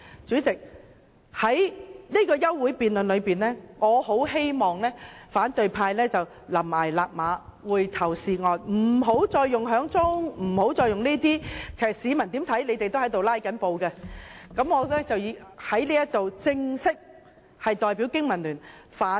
就這項休會待續議案而言，我很希望反對派懸崖勒馬，回頭是岸，不要再用點人數或提出議案會議進行，無論怎樣，市民都會覺得他們是在"拉布"。